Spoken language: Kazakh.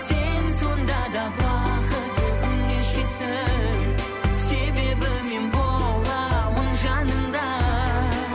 сен сонда да бақытты күн кешесің себебі мен боламын жаныңда